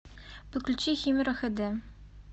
подключи химера хэ дэ